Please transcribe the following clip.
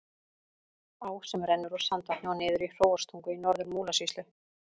Á sem rennur úr Sandvatni og niður í Hróarstungu í Norður-Múlasýslu.